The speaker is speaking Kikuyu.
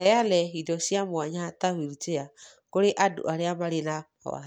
Kũheana indo cia mwanya ta wheelchair kũri andũ arĩa marĩ na mawathe